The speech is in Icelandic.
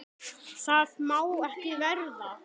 Það má ekki verða.